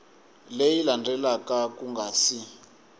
leyi landzelaka ku nga si